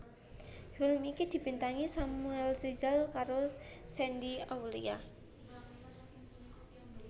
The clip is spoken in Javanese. Film iki dibintangi Samuel Rizal karo Shandy Aulia